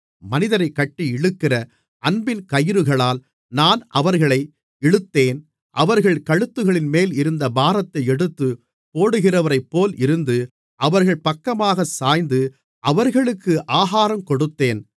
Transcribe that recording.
மனிதரைக் கட்டி இழுக்கிற அன்பின் கயிறுகளால் நான் அவர்களை இழுத்தேன் அவர்கள் கழுத்துகளின்மேல் இருந்த பாரத்தை எடுத்துப் போடுகிறவரைப்போல் இருந்து அவர்கள் பக்கமாக சாய்ந்து அவர்களுக்கு ஆகாரங்கொடுத்தேன்